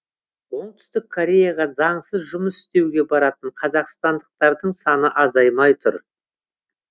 оңтүстік кореяға заңсыз жұмыс істеуге баратын қазақстандықтардың саны азаймай тұр